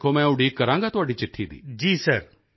ਵੇਖੋ ਮੈਂ ਉਡੀਕ ਕਰਾਂਗਾ ਤੁਹਾਡੀ ਚਿੱਠੀ ਦੀ